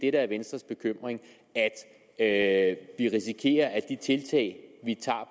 er venstres bekymring at vi risikerer at de tiltag vi tager